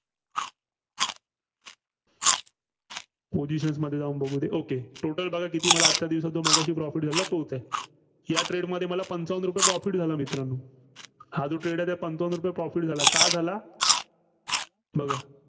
positioins मध्ये जाऊन बघुदे. okay total मला बघा आजच्या दिवसाचं मगाशी profit झालेलं तोच आहे. या trade मध्ये मला पंचावन्न रुपये profit झाला मित्रांनो. हा जो trade आहे, पंचावन्न रुपये profit झाला. का झालाय़ बघा.